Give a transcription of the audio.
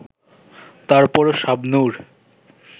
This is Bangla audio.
তারপরও শাবনূর